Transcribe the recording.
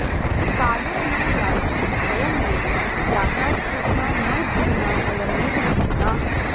कालो न यातो वयमेव यातास्तृष्णा न जीर्णा वयमेव जीर्णाः